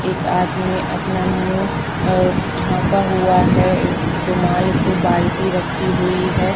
एक आदमी अपना मुँह और ढ़ाका हुआ है। रुमाल से बाल्टी रखी हुई है।